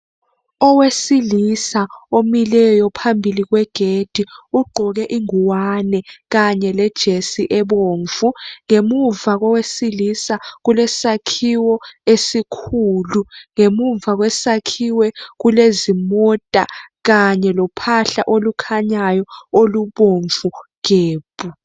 Owesilisa omileyo phambili kwegedi ugqoke ingwane kanye lejesi ebomvu ngemuva kowesilisa kulesakhiwo esikhulu ngemuva kwesakhiwo kulezimota kanye lophahla olukhanyanyo olubomvu gebhu.